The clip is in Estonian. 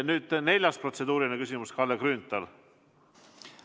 Nüüd neljas protseduuriline küsimus, Kalle Grünthal!